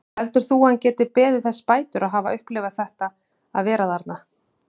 Heldur þú að hann geti beðið þess bætur að hafa upplifað þetta að vera þarna?